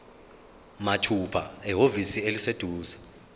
mathupha ehhovisi eliseduzane